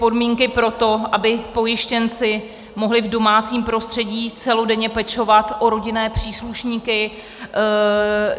... podmínky pro to, aby pojištěnci mohli v domácím prostředí celodenně pečovat o rodinné příslušníky.